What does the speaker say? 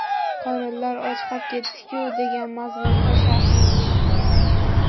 Qorinlari ochqab ketibdi-ku” degan mazmunda sharh yozgan.